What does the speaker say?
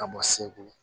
Ka bɔ segu